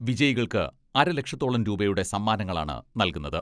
വിജയികൾക്ക് അരലക്ഷത്തോളം രൂപയുടെ സമ്മാനങ്ങളാണ് നൽകുന്നത്.